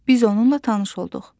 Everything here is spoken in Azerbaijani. Biz onunla tanış olduq.